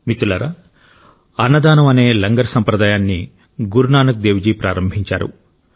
మిత్రులారా అన్నదానం అనే లంగర్ సంప్రదాయాన్ని గురు నానక్ దేవ్ జీ ప్రారంభించారు